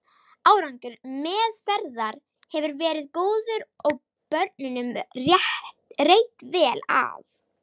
Árangur meðferðar hefur verið góður og börnunum reitt vel af.